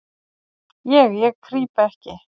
"""Ég, ég krýp ekki."""